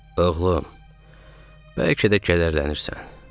Oğlum, bəlkə də kəlləşdirilirsən.